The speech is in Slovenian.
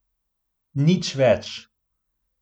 Nič več.